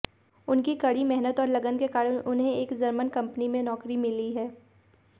उनकी कड़ी मेहनत और लगन के कारण उन्हें एक जर्मन कंपनी में नौकरी मिली है